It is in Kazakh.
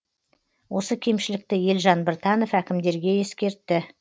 осы кемшілікті елжан біртанов әкімдерге ескертті